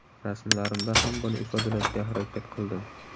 Rasmlarimda ham buni ifodalashga harakat qildim.